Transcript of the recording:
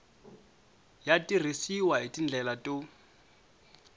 ya tirhisiwa hi tindlela to